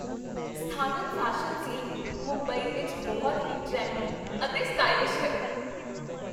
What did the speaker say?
ਸਥਾਨਕ fashion scene Mumbai ਵਿੱਚ ਬਹੁਤ ਹੀ ਟਰੈਂਡੀ ਅਤੇ ਸਟਾਈਲਿਸ਼ ਹੈ।